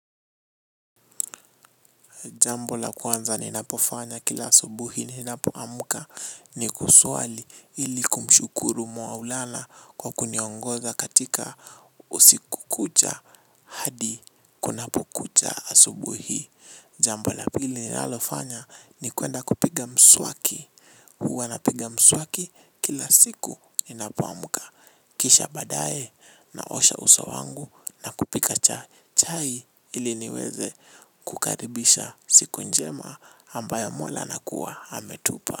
Jambo la kwanza ninapofanya kila asubuhi ninapoamuka ni kuswali ili kumshukuru mwa ulana kwa kuniongoza katika usiku kucha hadi kunapo kucha asubuhi. Jambo la pili nilalo fanya ni kuenda kupiga mswaki. Huwa napiga mswaki kila siku ninapaamuka. Kisha badae na osha uso wangu na kupika chai ili niweze kukaribisha siku njema ambayo mola nakua ametupa.